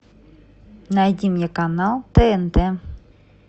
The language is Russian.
найди мне канал тнт